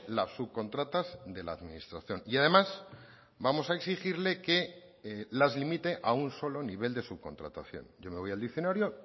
las subcontratas de la administración y además vamos a exigirle que las limite a un solo nivel de subcontratación yo me voy al diccionario